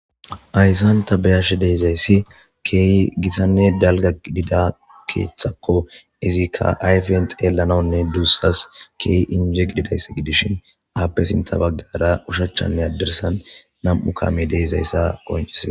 Ayssan ta beyashe deezayssi keeyi gisanne dalga idida keeththakko izikka ayfen xeellanawunne duussas keey injeq didayss gidishin aappe sinta baggara ushachchanne addersan nam'u kaame deezayssa qonchisia